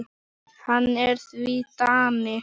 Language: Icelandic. Hann er því Dani.